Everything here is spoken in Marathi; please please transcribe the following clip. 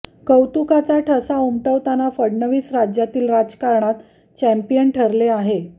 कर्तुत्वाचा ठसा उमटवताना फडणवीस राज्यातील राजकारणात चॅम्पियन ठरले आहे